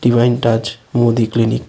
Divine touch Modi clinic.